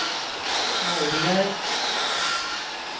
Morjärv